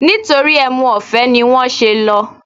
Nítorí ẹmu ọ̀fẹ́ ni wọ́n ṣe lọ